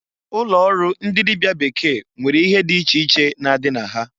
Ụlọ ọrụ ndi dịbịa bekee nwere ihe dị iche na-adị na ha.